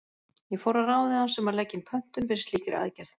Ég fór að ráði hans um að leggja inn pöntun fyrir slíkri aðgerð.